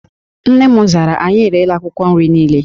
Nne m zara, anyị erela akwụkwọ nri niile